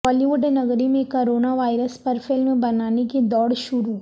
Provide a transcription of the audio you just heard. بالی would نگری میں corona virus پر فلم بنانے کی دوڑ شروع